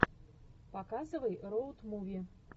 показывай роуд муви